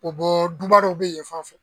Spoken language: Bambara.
o bɔ duba dɔ bɛ yenfan fɛ.